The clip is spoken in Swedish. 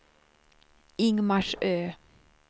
Ingmarsö